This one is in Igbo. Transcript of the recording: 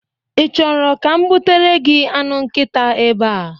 Ị chọrọ ka m butere gị anụ nkita ebea?